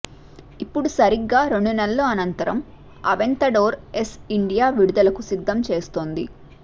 ఇప్పుడు సరిగ్గా రెండు నెలల అనంతరం అవెంతడోర్ ఎస్ ఇండియా విడుదలకు సిద్దం చేస్తోంది